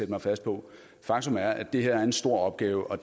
mig fast på faktum er at det her er en stor opgave og